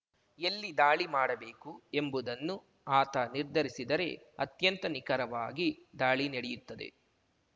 ಎಲ್ಲಿ ದಾಳಿ ಮಾಡಬೇಕು ಎಂಬುದನ್ನು ಆತ ನಿರ್ಧರಿಸಿದರೆ ಅತ್ಯಂತ ನಿಖರವಾಗಿ ದಾಳಿ ನಡೆಯುತ್ತದೆ